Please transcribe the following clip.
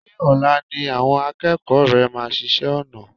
Ṣé ọ̀la ni àwọn akẹ́kọ̀ọ́ rẹ máa ṣiṣẹ́ ọnà?